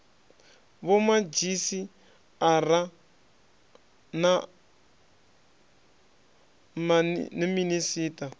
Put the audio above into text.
vhomadzhisi ara a na minisiṱa